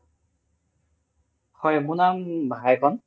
হয় মোৰ নাম ভাইকন